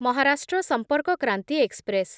Maharashtra Sampark Kranti express